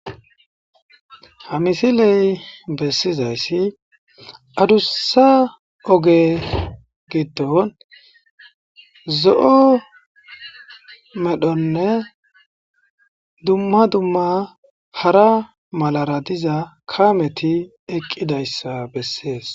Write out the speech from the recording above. Ha misiley bessizaysi addusa oge giddon zo'o medhonne dumma dumma hara malara diza kaamti eqqidaysa bessee.